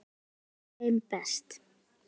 Þar leið þeim best.